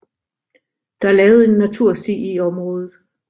Der er lavet en natursti i området